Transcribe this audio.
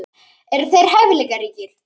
Eru þeir hæfileikaríkir?